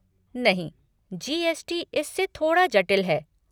नहीं, जी.एस.टी. इससे थोड़ा जटिल है।